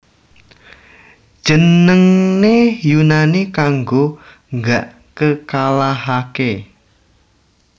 Jenengne Yunani kanggo Gak Kekalahake